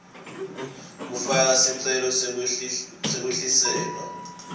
kufaka sicelo sekwehliselwa